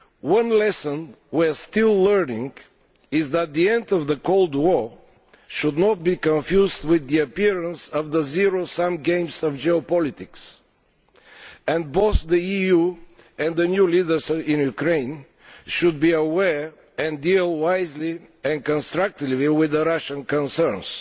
One lesson we are still learning is that the end of the Cold War should not be confused with the appearance of the zero sum games of geopolitics, and both the EU and the new leaders in Ukraine should be aware of, and deal wisely and constructively with, the Russian concerns